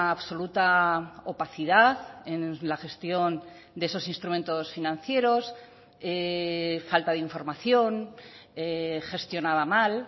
absoluta opacidad en la gestión de esos instrumentos financieros falta de información gestionaba mal